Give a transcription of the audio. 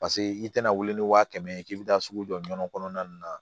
Paseke i tɛna wuli ni wa kɛmɛ ye k'i bɛ taa sugu jɔ nɔnɔ kɔnɔna na